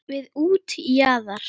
Við útjaðar